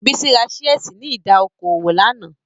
Bísí ra ṣíẹ̀sì ní ìdá okò òwò lánàá